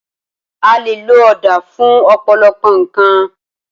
A lè lo ọ̀dà fún ọ̀pọ̀lọpọ̀ nǹkan